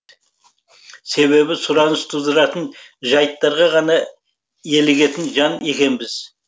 себебі сұраныс тудыратын жайттарға ғана елігетін жан екенбіз